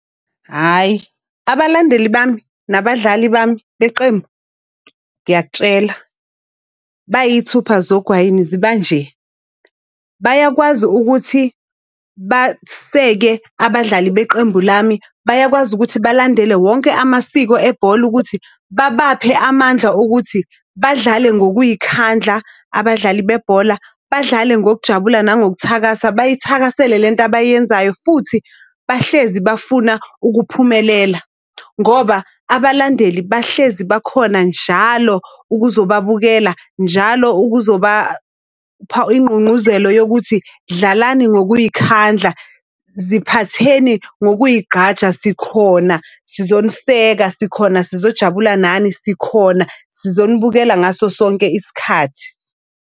Hhayi abalandeli bami nabadlali bami beqembu ngiyakutshela bayithupha zogwayini zibanje. Bayakwazi ukuthi baseke abadlali beqembu lami, bayakwazi ukuthi balandele wonke amasiko ebhola ukuthi babaphe amandla okuthi badlale ngokuy'khandla, abadlali bebhola, badlale ngokujabula nangokuthakasa bayithakasela le nto abayenzayo. Futhi bahlezi bafuna ukuphumelela, ngoba abalandeli bahlezi bakhona njalo ukuzobababukela. Njalo ukuzobapha ingqungquzelo yokuthi dlalani ngokuy'khandla ziphatheni yokuyigqaja sikhona sizoniseka, sikhona sizojabula nani, sikhona sizonibukela ngaso sonke isikhathi.